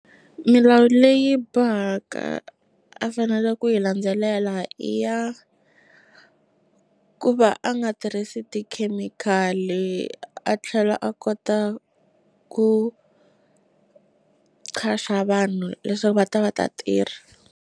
Milawu leyi bohaka a fanela ku yi landzelela i ya ku va a nga tirhisi tikhemikhali a tlhela a kota ku qasha vanhu leswaku va ta va ta tirha.